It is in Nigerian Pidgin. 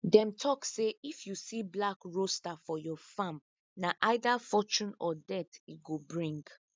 them tok say if you see black rooster for your farm na either fortune or death e go bring